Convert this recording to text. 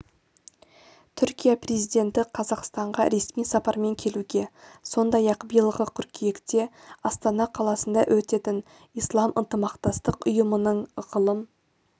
түркия президенті қазақстанға ресми сапармен келуге сондай-ақ биылғы қыркүйекте астана қаласында өтетін ислам ынтымақтастық ұйымының ғылым